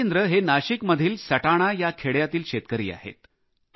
राजेंद्र हे नाशिकमधील सटाणा या खेड्यातील शेतकरी आहेत